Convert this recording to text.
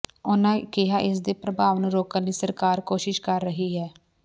ਉਨ੍ਹਾਂ ਕਿਹਾ ਇਸ ਦੇ ਪ੍ਰਭਾਵ ਨੂੰ ਰੋਕਣ ਲਈ ਸਰਕਾਰ ਕੋਸ਼ਿਸ਼ ਕਰ ਰਹੀ ਹੈ